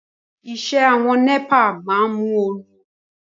Aṣọ iṣẹ́ àwọn NEPA máa ń móoru